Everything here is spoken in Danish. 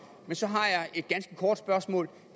men så har jeg et ganske kort spørgsmål